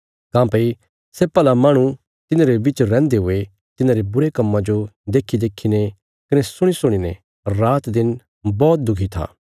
काँह्भई सै भला माहणु तिन्हांरे बिच रैहन्दे हुये तिन्हांरे बुरे कम्मां जो देखीदेखीने कने सुणीसुणीने रातदिन बौहत दुखी था